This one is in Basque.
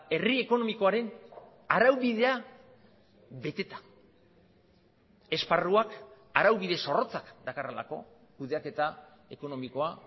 herri ekonomikoaren araubidea beteta esparruak araubide zorrotzak dakarrelako kudeaketa ekonomikoa